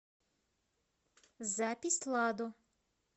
запись ладо